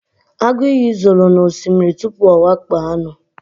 agụ iyi zoro n'osimiri tupu ọ wakpo anụ